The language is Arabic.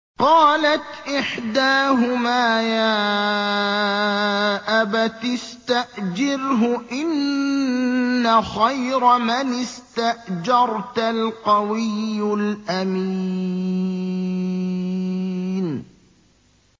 قَالَتْ إِحْدَاهُمَا يَا أَبَتِ اسْتَأْجِرْهُ ۖ إِنَّ خَيْرَ مَنِ اسْتَأْجَرْتَ الْقَوِيُّ الْأَمِينُ